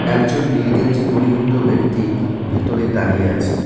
একজন নীল গেঞ্জি পরিহিত ব্যক্তি ভিতরে দাঁড়িয়ে আছে।